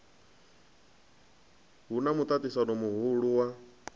hu na muṱaṱisano muhulu wa